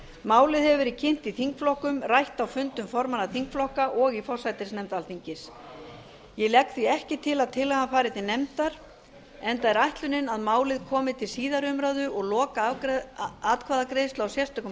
málið hefur verið kynnt í þingflokkum rætt á fundum formanna þingflokka og í forsætisnefnd alþingis ég legg því ekki til að tillagan fari til nefndar enda er ætlunin að málið komi til síðari umræðu og lokaatkvæðagreiðslu á sérstökum